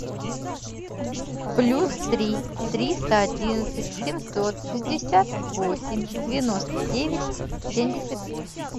плюс три триста одиннадцать семьсот шестьдесят восемь девяносто девять семьдесят восемь